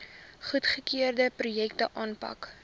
goedgekeurde projekte aanpak